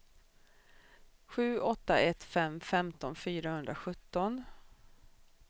sju åtta ett fem femton fyrahundrasjutton